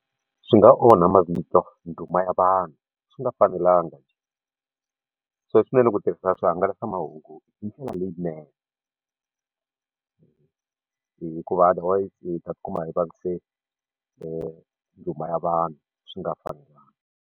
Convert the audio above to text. Swi nga onha mavito nduma ya vanhu swi nga fanelanga so swinene ku tirhisa swihangalasamahungu hi ndlela leyinene hikuva otherwise hi ta ti kuma hi vavise nduma ya vanhu swi nga fanelanga.